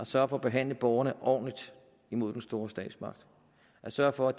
sørge for at behandle borgerne ordentligt imod den store statsmagt og at sørge for